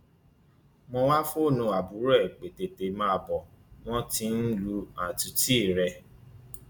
mo wáá fóònù àbúrò ẹ pé tètè máa bọ wọn tí ń lu àtúntì rẹ